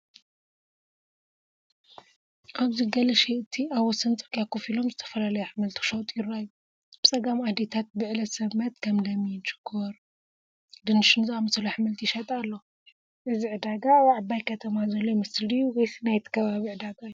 ኣብዚ ገለ ሸየጥቲ ኣብ ወሰን ጽርግያ ኮፍ ኢሎም ዝተፈላለዩ ኣሕምልቲ ክሸጡ ይረኣዩ። ብጸጋም ኣዴታት ብዕለት ሰንበት ከም ለሚን፣ ሽኮር ድንሽን ዝኣመሰሉ ኣሕምልቲ ይሸጣ ኣለዋ። እዚ ዕዳጋ ኣብ ዓባይ ከተማ ዘሎ ይመስል ድዩ ወይስ ናይቲ ከባቢ ዕዳጋ እዩ?